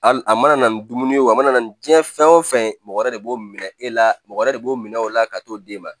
Al a mana ni dumuni ye o a mana na ni diɲɛ fɛn o fɛn ye mɔgɔ wɛrɛ de b'o minɛ e la mɔgɔ yɛrɛ de b'o minɛ o la ka t'o d'e ma